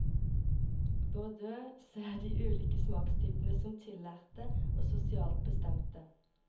Bourdieu ser de ulike smakstypene som tillærte og sosialt bestemte.